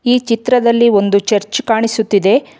ಈ ಚಿತ್ರದಲ್ಲಿ ಒಂದು ಚರ್ಚ್ ಕಾಣಿಸುತ್ತಿದೆ.